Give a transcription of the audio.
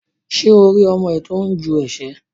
Ṣé o rí ọmọ ẹ tó ń ju ẹsẹ̀?